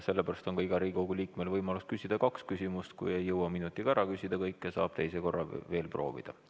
Sellepärast on ka igal Riigikogu liikmel võimalus küsida kaks küsimust – kui ei jõua minutiga kõike ära küsida, siis saab teise korraga veel proovida.